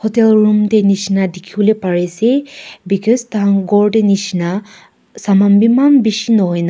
hotel room dae nishina dikipolae pari asae because tai khan kor nishina saman bi eman bishi nahoina.